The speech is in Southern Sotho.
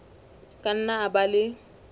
ka nna a ba le